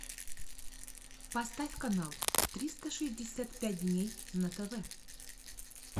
поставь канал триста шестьдесят пять дней на тв